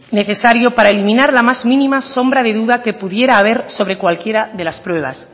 necesario para eliminar la más mínima sombra de duda que pudiera haber sobre cualquiera de las pruebas